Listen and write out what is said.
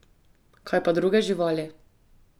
Kaj pa druge živali?